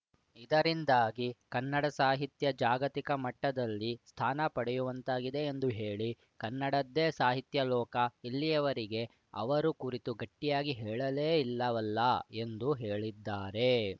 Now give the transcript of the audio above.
ಇದರಿಂದಾಗಿ ಕನ್ನಡ ಸಾಹಿತ್ಯ ಜಾಗತಿಕ ಮಟ್ಟದಲ್ಲಿ ಸ್ಥಾನ ಪಡೆಯುವಂತಾಗಿದೆ ಎಂದು ಹೇಳಿ ಕನ್ನಡದ್ದೇ ಸಾಹಿತ್ಯಲೋಕ ಇಲ್ಲಿಯವರೆಗೆ ಅವರ ಕುರಿತು ಗಟ್ಟಿಯಾಗಿ ಹೇಳಲೇ ಇಲ್ಲವಲ್ಲ ಎಂದು ಹೇಳಿದ್ದಾರೆ